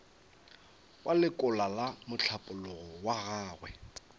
wa lekola mohlapologo wa gagwe